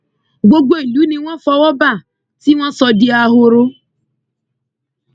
gbogbo ìlú ni wọn fọwọ bá tí wọn sọ di ahoro